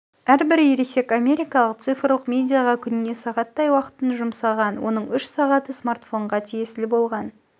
әрбір ересек америкалық цифрлық медиаға күніне сағаттай уақытын жұмсаған оның үш сағаты смартфонға иесілі болған